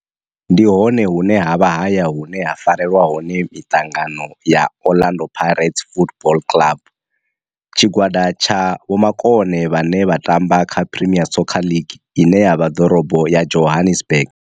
Ndi hone hune havha haya hune ha farelwa hone mitangano ya Orlando Pirates Football Club. Tshigwada tsha vhomakone vhane vha tamba kha Premier Soccer League ine ya vha Dorobo ya Johannesburg.